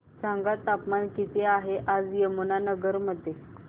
सांगा तापमान किती आहे आज यमुनानगर मध्ये